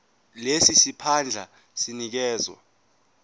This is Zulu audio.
lesi siphandla sinikezwa